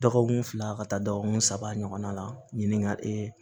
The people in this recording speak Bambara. Dɔgɔkun fila ka taa dɔgɔkun saba ɲɔgɔn na ɲininkali